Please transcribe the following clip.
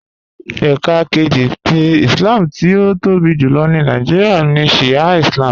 Ẹká kẹjì tì Ìslám tí ó tóbi júlọ̀ ní Nàìjíríà ní Shià Ìslám